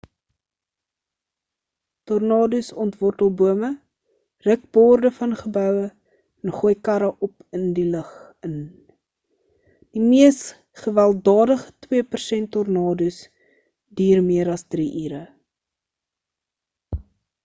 tornados ontwortel bome ruk borde van geboue en gooi karre op in die lug in die mees gewelddadige twee persent tornadoes duur meer as drie ure